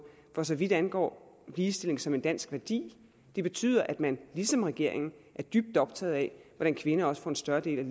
for så vidt angår ligestilling som en dansk værdi betyder at man ligesom regeringen er dybt optaget af hvordan kvinder får en større del